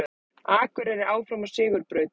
Akureyri áfram á sigurbraut